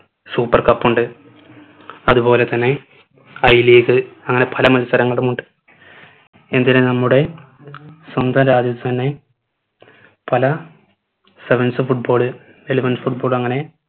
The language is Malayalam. super cup ഉണ്ട് അത് പോലെ തന്നെ i league അങ്ങനെ പല മത്സരങ്ങളുമുണ്ട് എന്തിന് നമ്മുടെ സ്വന്തം രാജ്യത്തു തന്നെ പല sevens football elevens football